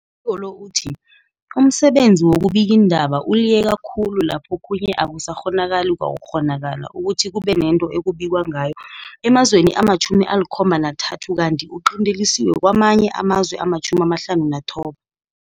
ko lo uthi umsebenzi wobubikiindaba uliyeka khulu kanti laphokhunye akusakghonakali kwaku kghonakala ukuthi kube nento ekubikwa ngayo emazweni ama-73 kanti uqintelisiwe kamanye amazwe ama-59.